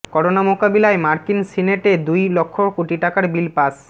corona মোকাবিলায় মার্কিন সিনেটে দুই লক্ষ কোটি টাকার বিল পাস